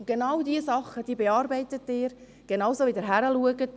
Genau solche Dinge bearbeiten sie, genau dort schauen sie hin.